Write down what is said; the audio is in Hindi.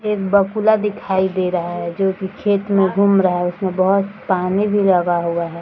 एक बगुला दिखाई दे रहा है जो की खेत में घूम रहा है उसममें बहुत पानी भी लगा हुआ हैं।